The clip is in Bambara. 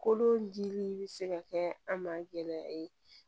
Kolodimi bɛ se ka kɛ an ma gɛlɛya ye